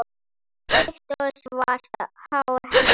Þykkt og svart hár hennar.